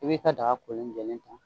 I bi ka daga kolen jɛlen ta